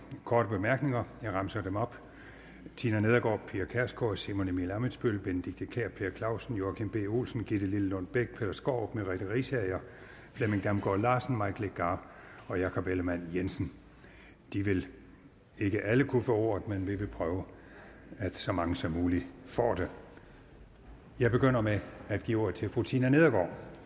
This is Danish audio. korte bemærkninger jeg remser dem op tina nedergaard pia kjærsgaard simon emil ammitzbøll benedikte kiær per clausen joachim b olsen gitte lillelund bech peter skaarup merete riisager flemming damgaard larsen mike legarth og jakob ellemann jensen de vil ikke alle kunne få ordet men vi vil prøve at så mange som muligt får det jeg begynder med at give ordet til fru tina nedergaard